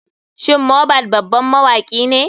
Shin mohbad baban mawakine?